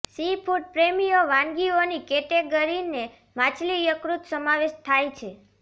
seafood પ્રેમીઓ વાનગીઓની કેટેગરીને માછલી યકૃત સમાવેશ થાય છે